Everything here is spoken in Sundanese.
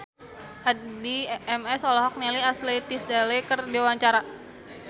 Addie MS olohok ningali Ashley Tisdale keur diwawancara